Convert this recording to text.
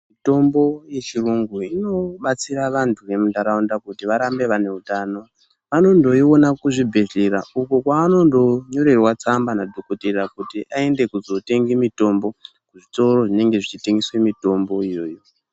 Mitombo yechiyungu inobatsira vantu vemunharaunda kuti varambe vaine hutamo. Vanondo iona kuzvibhedhlera uko kwanondo nyorerwa tsamba nadhogodheya kuti aende kuzotenge mutombo kuzvitoro zvinenge zvichitengese mitombo iyoyo.